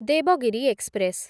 Devagiri express